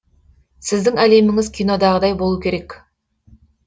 сіздің әлеміңіз кинодағыдай болуы керек